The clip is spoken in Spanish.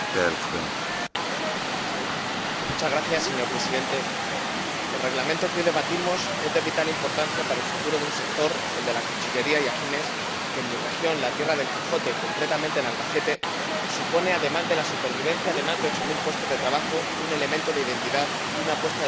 Señor Presidente, el Reglamento que hoy debatimos es de vital importancia para el futuro de un sector, el de la cuchillería y afines, que en mi región —la tierra del Quijote, concretamente en Albacete— supone, además de la supervivencia de más de ocho mil puestos de trabajo, un elemento de identidad y una apuesta de futuro por la artesanía como fuente generadora de empleo.